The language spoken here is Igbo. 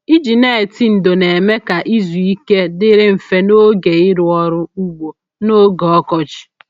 Iji neti ndò na-eme ka izu ike dịrị mfe n'oge ịrụ ọrụ ugbo n'oge ọkọchị.